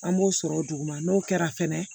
An b'o sɔrɔ o duguma n'o kɛra fɛnɛ